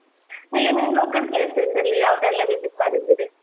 ನೀವ್ ನಿಮ್ಮ local places ಯಾವ್ದೆಲ್ಲ visit ಮಾಡಿದ್ದೀರಿ?